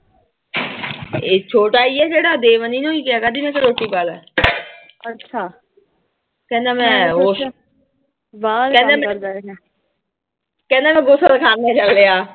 ਇਹ ਛੋਟਾ ਈ ਆ, ਜਿਹੜਾ ਕਿਆ ਰੋਟੀ ਪਾ ਲੈ। ਕਹਿੰਦਾ ਮੈਂ ਕਹਿੰਦਾ ਮੈਂ। ਕਹਿੰਦਾ ਮੈਂ ਗੁਸਲਖਾਨੇ ਚੱਲਿਆਂ।